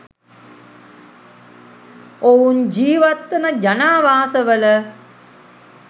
ඔවුන් ජිවත් වන ජනාවාස වල